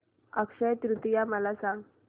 अक्षय तृतीया मला सांगा